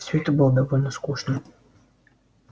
все это было довольно скучно